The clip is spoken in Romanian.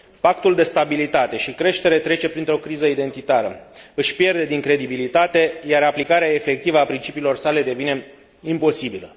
Pactul de stabilitate și creștere trece printr o criză identitară, își pierde din credibilitate, iar aplicarea efectivă a principiilor sale devine imposibilă.